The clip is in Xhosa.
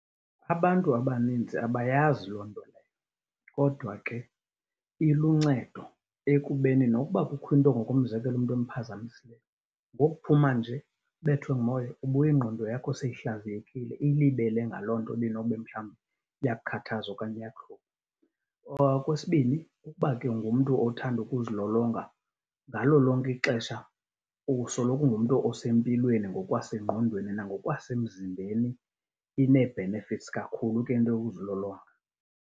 Abantu abanintsi abayazi loo nto leyo kodwa ke iluncedo ekubeni nokuba kukho into ngokomzekelo, into emphazamisayo, ngokuphuma nje, ubethwe ngumoya ubuya ingqondo yakho seyihlaziyekile, ilibele ngaloo nto ibinobe mhlawumbi iyakukhathaza okanye iyakuhlupha. Okwesibini, ukuba ke ungumntu othanda ukuzilolonga, ngalo lonke ixesha usoloko ungumntu osempilweni ngokwasengqondweni nangokwasemzimbeni. Inee-benefits kakhulu ke into yokuzilolonga.